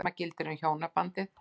Sama gildir um hjónabandið.